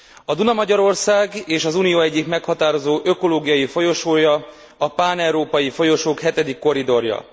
A Duna Magyarország és az Unió egyik meghatározó ökológiai folyosója, a páneurópai folyosók hetedik korridorja.